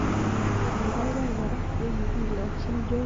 kiibaibai kora ye kikilagjin George Bush ak Barack Obama.